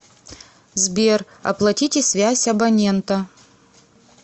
сбер оплатите связь абонента